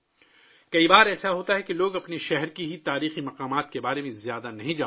کئی بار ایسا ہوتا ہے کہ لوگ اپنے ہی شہر کے تاریخی مقامات کے بارے میں زیادہ نہیں جانتے